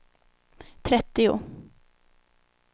trettio